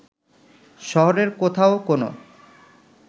শহরের কোথাও কোনো